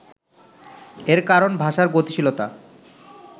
এর কারণ ভাষার গতিশীলতা